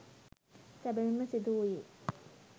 සැබවින්ම සිදු වූයේ